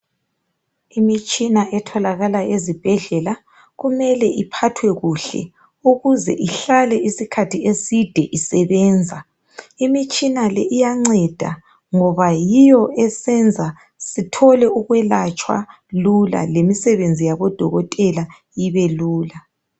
Imitshina etholakala ezibhedlela kumele iphathwe kuhle ,ukuze ihlale isikhathi eside isebenza . Imitshina le iyanceda ngoba yiyo esenza sithole ukwelatshwa lula , lemisebenzi yabodokothela ibelula .